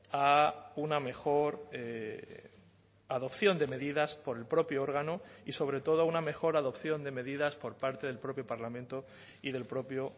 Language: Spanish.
a una mejor adopción de medidas por el propio órgano y sobre todo a una mejor adopción de medidas por parte del propio parlamento y del propio